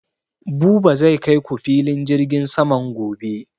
Buba zai kai ku filin jirgin saman gobe